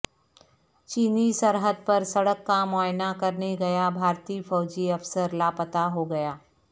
چینی سرحد پر سڑک کا معائنہ کرنے گیا بھارتی فوجی افسر لاپتا ہوگیا